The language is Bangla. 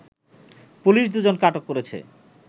পুলিশ দুজনকে আটক করেছে